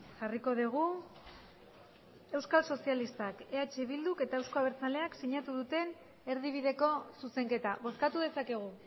jarriko dugu euskal sozialistak eh bilduk eta euzko abertzaleak sinatu duten erdibideko zuzenketa bozkatu dezakegu